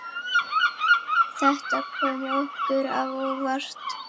Þetta kom okkur á óvart.